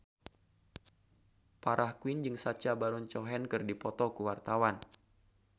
Farah Quinn jeung Sacha Baron Cohen keur dipoto ku wartawan